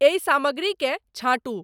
एहि सामग्री के छाँटू